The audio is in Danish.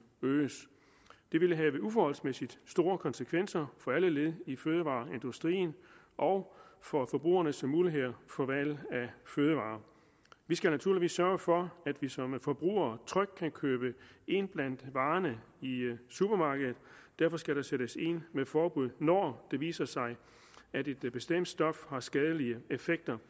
øges det ville have uforholdsmæssig store konsekvenser for alle led i fødevareindustrien og for forbrugernes muligheder for valg af fødevarer vi skal naturligvis sørge for at vi som forbrugere trygt kan købe ind blandt varerne i supermarkedet og derfor skal der sættes ind med forbud når det viser sig at et bestemt stof har skadelige effekter